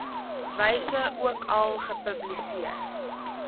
wyse ookal gepubliseer